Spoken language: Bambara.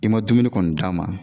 I ma dumuni kɔni d'a ma